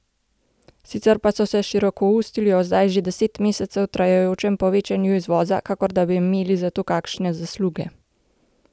Sicer pa so se širokoustili o zdaj že deset mesecev trajajočem povečevanju izvoza, kakor da bi imeli za to kakšne zasluge.